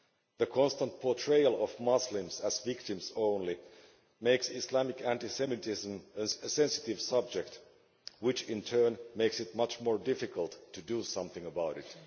The constant portrayal of Muslims as victims only makes Islamic anti Semitism a sensitive subject which in turn makes it much more difficult to do something about it.